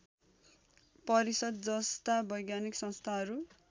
परिषद जस्ता वैज्ञानिक संस्थाहरू